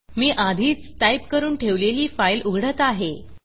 मी आधीच टाईप करून ठेवलेली फाईल उघडत आहे